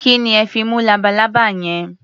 Kí ni ẹ fi mú labalábá yẹn?